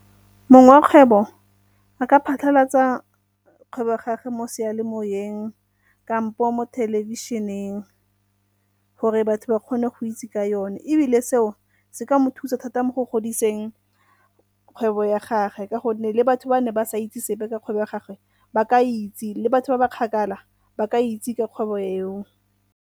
Mongwe wa kgwebo a ka phatlhalatsa kgwebo gage mo sealemoyeng kampo mo thelebišeneng gore batho ba kgone go itse ka yone, ebile seo se ka mo thusa thata mo go godiseng kgwebo ya gagwe ka gonne le batho ba ne ba sa itse sepe ka kgwebo ya gagwe ba ka itse le batho ba ba kgakala, ba ka itse ka kgwebo eo.